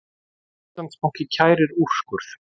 Íslandsbanki kærir úrskurð